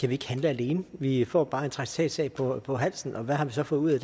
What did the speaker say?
vi ikke handle alene vi får bare en traktatsag på på halsen og hvad har vi så fået ud af